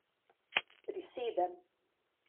Prisedem.